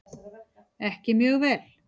Ekki mjög vel.